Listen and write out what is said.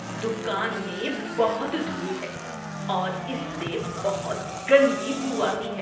دکان میں بہت دھول ہے اور اس سے بہت گندی بو آتی ہے۔